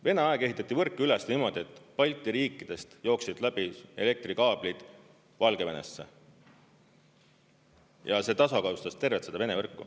Vene aeg ehitati võrku üles niimoodi, et Balti riikidest jooksid läbi elektrikaablid Valgevenesse ja see tasakaalustas tervet Vene võrku.